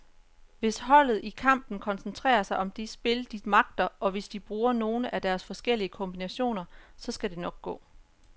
Hvis holdet i kampen koncentrerer sig om det spil, de magter, og hvis de bruger nogle af deres forskellige kombinationer, så skal det nok gå.